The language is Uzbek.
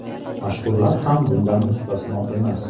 Mashhurlar ham bundan mustasno emas.